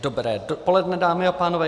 Dobré dopoledne, dámy a pánové.